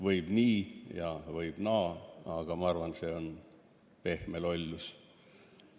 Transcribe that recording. Võib nii ja võib naa, aga ma arvan, et see on pehme lollus.